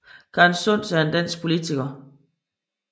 Karen Sunds er en dansk politiker